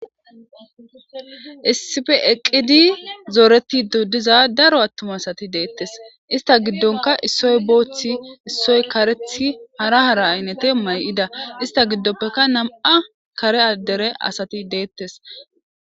issife eqqidi zooretido diza daro attuma asati deettes ista giddonka issoy booththi issoy karethi hara hara aynete may7ida ista giddoppeka nam7a kare addere asati deettes